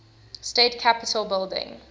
state capitol building